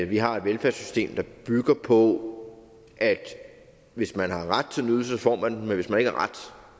vi har et velfærdssystem der bygger på at hvis man har ret til en ydelse får man den men hvis man ikke har ret